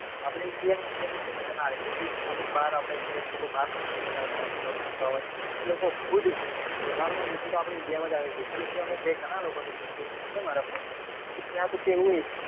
આપડે india માં છે એ મજા નાં આવે કે તે અમુક બાર આપડા indians લોકો બાર નોકરી કરતા હોય બાર job કરતા હોય એ લોકો ખુદ તહેવાર નાં દિવસે તો આપડા india માં જ આવે પેલો કે અમારે મેં ઘણાં લોકો ને પૂછ્યું ત્યાં છે મારા friend તો ત્યાં તો કે